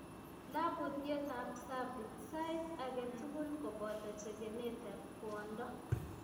Labutiet ab cervix saait agetugul koboto chekenet eb kwondo